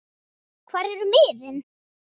hvar eru miðin?